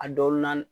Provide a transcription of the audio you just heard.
A dɔw na